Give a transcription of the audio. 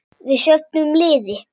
Við söfnum liði.